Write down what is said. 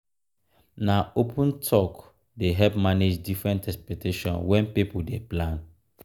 na open talk dey help manage different expectations wen pipo dey plan.